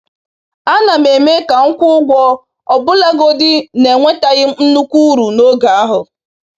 A na m eme ka m kwụọ ụgwọ ọbụlagodi na enwetaghị m nnukwu uru n’oge ahụ.